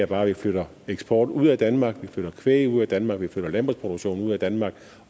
bare at vi flytter eksport ud af danmark at vi flytter kvæg ud af danmark at vi flytter landbrugsproduktion ud af danmark